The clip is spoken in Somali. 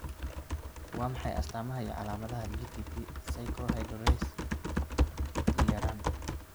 Waa maxay astamaha iyo calaamadaha GTP cyclohydrolase I yaraan?